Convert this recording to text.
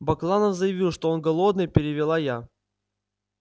бакланов заявил что он голодный перевела я